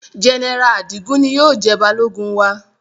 General Adigun ni yóò jẹ balogun wa